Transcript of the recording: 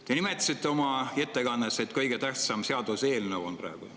Te nimetasite oma ettekandes, et see on kõige tähtsam seaduseelnõu praegu.